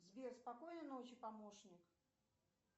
сбер спокойной ночи помощник